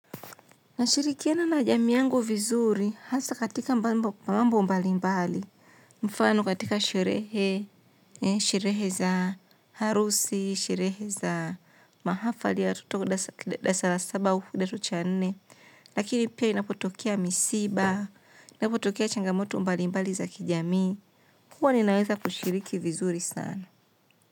Nashirikiana na jamii yangu vizuri, hasa katika mbambo mambo mbali mbali, mfano katika sherehe, sherehe za harusi, sherehe za mahafali ya watoto wa dalasa la saba au hudato cha nne, lakini pia inapotokea misiba, inapotokea changamoto mbalimbali za kijamii, huwa ninaweza kushiriki vizuri sana.